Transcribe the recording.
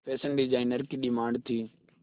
fashion designer की demand थी